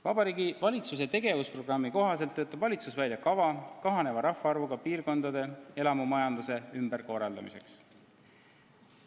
Vabariigi Valitsuse tegevusprogrammi kohaselt töötab valitsus välja kava kahaneva rahvaarvuga piirkondade elamumajanduse ümberkorraldamiseks.